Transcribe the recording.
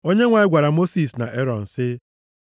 Onyenwe anyị gwara Mosis na Erọn sị,